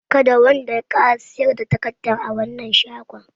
Kada wanda ya ƙara siyar da takardar a wannan shagon!